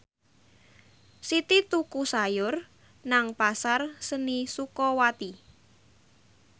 Siti tuku sayur nang Pasar Seni Sukawati